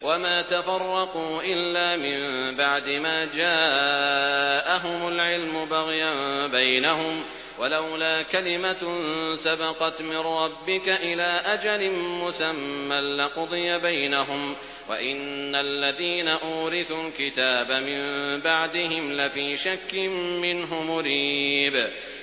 وَمَا تَفَرَّقُوا إِلَّا مِن بَعْدِ مَا جَاءَهُمُ الْعِلْمُ بَغْيًا بَيْنَهُمْ ۚ وَلَوْلَا كَلِمَةٌ سَبَقَتْ مِن رَّبِّكَ إِلَىٰ أَجَلٍ مُّسَمًّى لَّقُضِيَ بَيْنَهُمْ ۚ وَإِنَّ الَّذِينَ أُورِثُوا الْكِتَابَ مِن بَعْدِهِمْ لَفِي شَكٍّ مِّنْهُ مُرِيبٍ